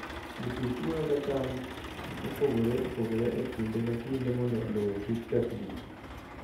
Jopur chwoyoga cham mopogore opogore e kinde ka kinde mondo lowo kik kethgi.